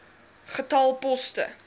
getal poste